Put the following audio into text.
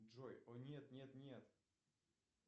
джой о нет нет нет